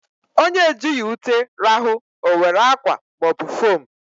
Onye ejighị ute rahụ, o were akwa ma ọ bụ fom